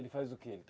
Ele faz o que?